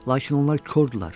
Lakin onlar kordular.